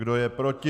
Kdo je proti?